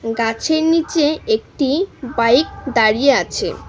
গাছের নীচে একটি বাইক দাঁড়িয়ে আছে।